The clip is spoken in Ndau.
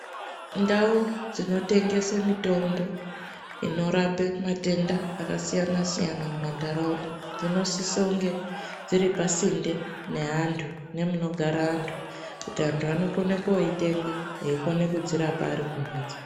Ndau dzinotengese mitombo inorape matenda akasiyana siyana mumantaraunda dzinosisa kunge dziri pasinde neantu, nemunogara antu, kuti antu vanokone koyitenga eyikone kudzirapa arikumhatso.